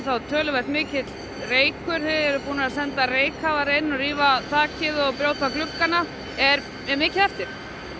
töluvert mikill reykur þið eruð búin að senda reykkafara inn rífa þakið og brjóta gluggana er mikið eftir